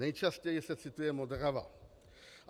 Nejčastěji se cituje Modrava.